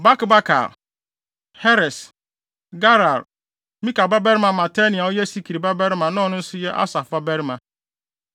Bakbakar, Heres, Galal, Mika babarima Matania a ɔyɛ Sikri babarima na ɔno nso yɛ Asaf babarima,